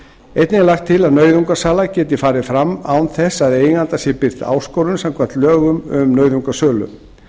einnig er lagt til að nauðungarsala geti farið fram án þess að eiganda sé birt áskorun samkvæmt lögum um nauðungarsölu